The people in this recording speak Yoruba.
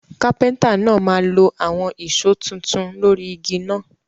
Carpenter náà máa lo àwon ìso tuntun lórí igi náà